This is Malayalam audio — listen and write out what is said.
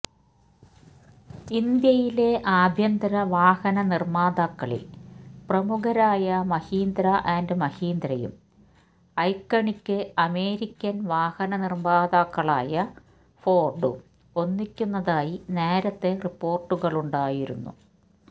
ഇന്ത്യയിലെ ആഭ്യന്തര വാഹനനിര്മ്മാതാക്കളില് പ്രമുഖരായ മഹീന്ദ്ര ആന്ഡ് മഹീന്ദ്രയും ഐക്കണിക്ക് അമേരിക്കന് വാഹന നിര്മ്മാതാക്കളായ ഫോര്ഡും ഒന്നിക്കുന്നതായി നേരത്തെ റിപ്പോര്ട്ടുകളുണ്ടായിരുന്നു